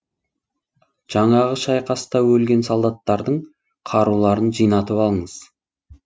жаңағы шайқаста өлген солдаттардың қаруларын жинатып алыңыз